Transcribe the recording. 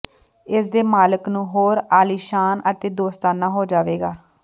ਇਸ ਦੇ ਮਾਲਕ ਨੂੰ ਹੋਰ ਆਲੀਸ਼ਾਨ ਅਤੇ ਦੋਸਤਾਨਾ ਹੋ ਜਾਵੇਗਾ